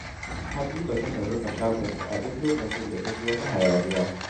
Habiba takan rufe shagonta a duk lokacin da ta ji wata hayaniya.